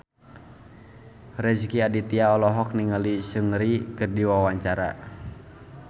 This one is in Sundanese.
Rezky Aditya olohok ningali Seungri keur diwawancara